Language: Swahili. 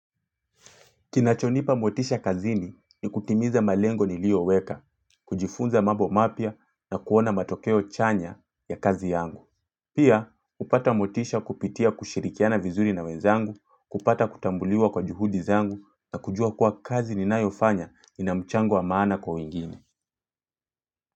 Kinachonipa motisha kazini ni kutimiza malengo nilio weka, kujifunza mambo mapya na kuona matokeo chanya ya kazi yangu. Pia, hupata motisha kupitia kushirikiana vizuri na wenzangu, kupata kutambuliwa kwa juhudi zangu na kujua kuwa kazi ninayofanya inamchango wamaana kwa wengine.